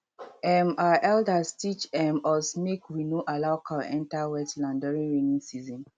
um our elders teach um us make we no allow cow enter wet land during rainy season